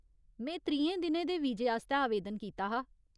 में त्रीहें दिनें दे वीजे आस्तै आवेदन कीता हा।